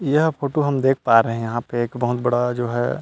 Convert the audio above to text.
यह फोटो हम देख पा रहे हैं यहां पे एक बहुत बड़ा जो है --